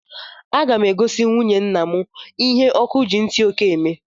Aga mụ egosi nwụnye ńnà mụ ihe ọkụ gị ntị oke eme!!!